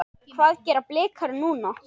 Hvað gera Blikar núna?